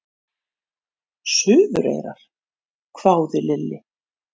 Suðureyrar? hváði Lilli.